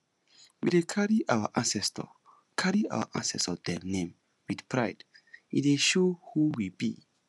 we dey carry our ancestor carry our ancestor dem name wit pride e dey show who we be